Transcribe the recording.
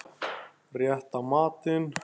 Rétta matinn.